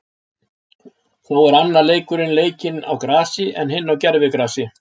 Þó er annar leikurinn leikinn á grasi, en hinn á gervigrasi.